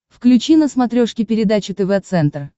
включи на смотрешке передачу тв центр